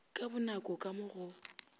ka bonako ka mo go